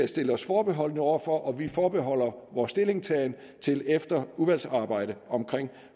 stille os forbeholdne over for og vi forbeholder vores stillingtagen til efter udvalgsarbejdet om